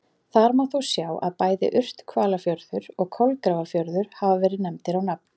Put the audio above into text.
Þar má þó sjá að bæði Urthvalafjörður og Kolgrafafjörður hafa verið nefndir á nafn.